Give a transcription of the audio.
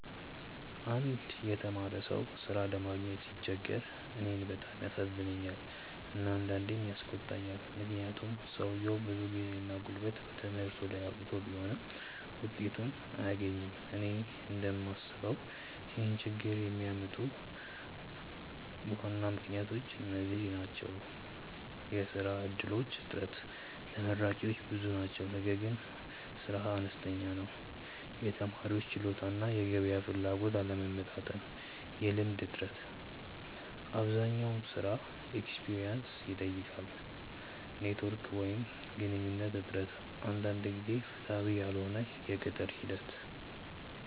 አንድ የተማረ ሰው ሥራ ለማግኘት ሲቸገር እኔን በጣም ያሳዝነኛል እና አንዳንዴም ያስቆጣኛል፤ ምክንያቱም ሰውየው ብዙ ጊዜና ጉልበት በትምህርቱ ላይ አውጥቶ ቢሆንም ውጤቱን አያገኝም። እኔ እንደምስበው ይህን ችግኝ የሚያመጡ ዋና ምክንያቶች እነዚህ ናቸው፦ የሥራ እድሎች እጥረት (ተመራቂዎች ብዙ ናቸው ነገር ግን ሥራ አነስተኛ ነው) የተማሪዎች ችሎታ እና የገበያ ፍላጎት አለመመጣጠን የልምድ እጥረት (አብዛኛው ሥራ “experience” ይጠይቃል) ኔትዎርክ ወይም ግንኙነት እጥረት አንዳንድ ጊዜ ፍትሃዊ ያልሆነ የቅጥር ሂደት